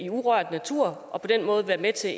urørt natur og på den måde være med til